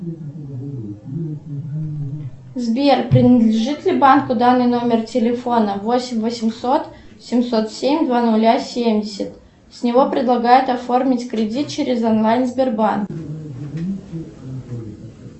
сбер принадлежит ли банку данный номер телефона восемь восемьсот семьсот семь два ноля семьдесят с него предлагают оформить кредит через онлайн сбербанк